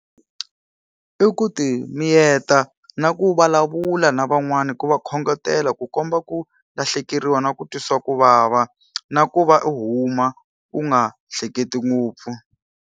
I ku ti miyeta na ku vulavula na van'wani ku va khongotela ku komba ku lahlekeriwa na ku twisa ku vava. Na ku va u huma u nga hleketi ngopfu.